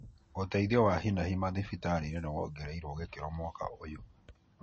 ũteithio wa hinahi madhibitarĩini nĩ wongereirwo gĩkĩro mwaka ũyũ.